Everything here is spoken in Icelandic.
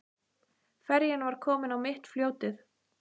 Ferjan var komin á mitt fljótið.